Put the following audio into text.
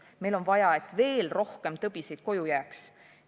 Meil on vaja, et veel rohkem tõbiseid koju jääks.